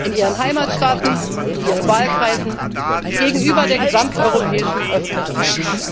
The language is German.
Rolle. In Ihren Heimatstaaten, in Ihren Wahlkreisen, gegenüber der gesamteuropäischen Öffentlichkeit.